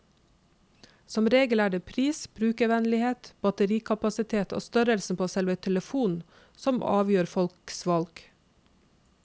Som regel er det pris, brukervennlighet, batterikapasitet og størrelsen på selve telefonen som avgjør folks valg.